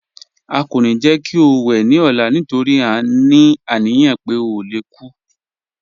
À kọ́ ní jẹ́ kí ó wè ní ọ̀là nítorí à ní aniyàn pé ó lè kú